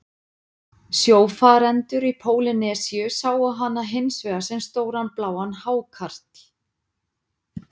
Sjófarendur í Pólýnesíu sáu hana hins vegar sem stóran bláan hákarl.